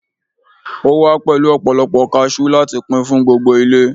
o wa pẹlu ọpọlọpọ cashew lati Pin fún gbogbo ile